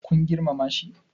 kun girmama shi?